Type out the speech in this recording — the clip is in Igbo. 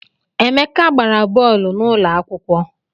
Emeka gbara bọọlụ n’ụlọakwụkwọ